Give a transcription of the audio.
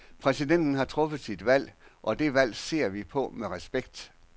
Præsidenten har truffet sit valg, og det valg ser vi på med respekt.